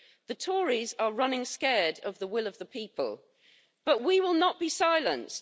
The Tories are running scared of the will of the people, but we will not be silenced.